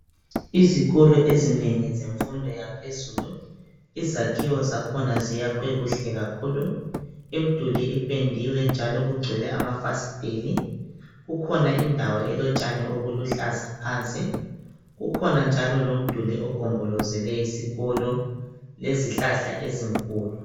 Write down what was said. Izikolo ezinengi zemfundo yaphezulu izakhiwo zakhona zakhiwe kuhle kakhulu imdluli ipendiwe njalo kugcwele amafasiteli kukhona indawo elotshani obuluhlaza phansi kukhona njalo lomduli ogombolozele isikolo lezihlahla ezinkulu